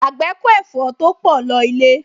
Àgbẹ̀ kó ẹ̀fọ́ to pọ̀ lọ ilé